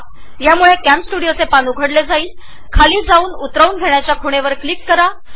या वेबसाइटवर कॅमस्टुडिओचे पान उघडल्यावर खाली स्क्रोल करा व लिंक टू डाउनलोड या पर्यायावर क्लिक करा